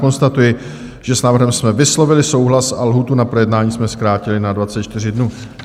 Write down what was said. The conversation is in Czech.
Konstatuji, že s návrhem jsme vyslovili souhlas a lhůtu na projednání jsme zkrátili na 24 dnů.